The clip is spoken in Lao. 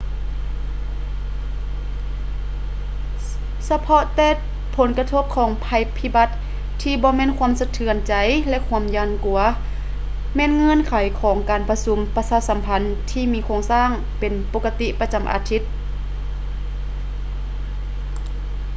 ສະເພາະແຕ່ຜົນກະທົບຂອງໄພພິບັດ ທີ່ບໍ່ແມ່ນຄວາມສະເທືອນໃຈ ແລະ ຄວາມຢ້ານກົວ ແມ່ນເງື່ອນໄຂຂອງການປະຊຸມປະຊາສຳພັນທີ່ມີໂຄງສ້າງເປັນປົກກະຕິປະຈຳອາທິດ